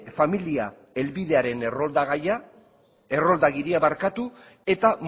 familia helbidearen errolda gaia errolda agiria barkatu eta